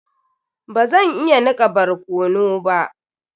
Bazan iya nika barkano ba.